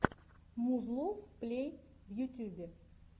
музлов плей в ютьюбе